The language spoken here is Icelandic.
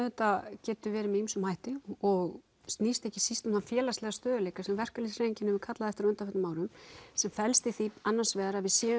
getur verið með ýmsum hætti og snýst ekki síst um þann félagslega stöðugleika sem verkalýðshreyfingin hefur kallað eftir á undanförnum árum sem felst í því annars vegar að við séum